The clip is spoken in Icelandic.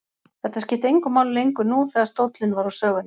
Þetta skipti engu máli lengur nú þegar stóllinn var úr sögunni.